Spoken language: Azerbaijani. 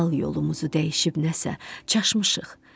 Halal yolumuzu dəyişib nəsə çaşmışıq.